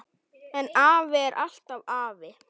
En afi er alltaf afi.